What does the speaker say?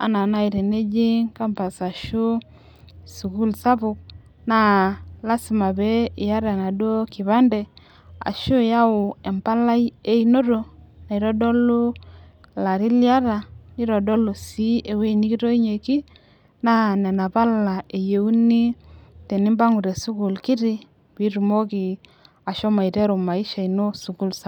Anaa naaji teneji campus ashu sukuul sapuk. naa lasima peyie iyata enaduoo kipande, ashu iyau empalai einoto naitodolu ilarin liyata nitodolu sii ewueji nikitoinyieki, naa Nena pala eyieni tenimpangu te sukuul kitu. pee itumoki ashomo aiteru maisha ino esukuul sapuk.